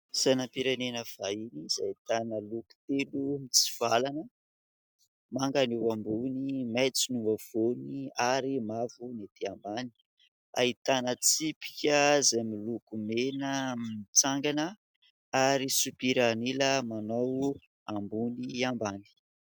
Sainam-pirenena vahiny izay ahitana loko telo mitsivalana ; manga ny eo ambony, maitso no apovoany ary mavo ny ety ambany ; ahitana tsipika izay miloko mena mitsangana ary sopiran'ila manao ambony ambany.